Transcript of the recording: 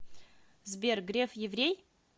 сбер греф еврей